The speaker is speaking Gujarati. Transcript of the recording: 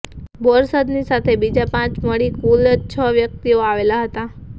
બોરસદની સાથે બીજા પાંચ મળી કુલ છ વ્યકિતઓ આવેલા હતા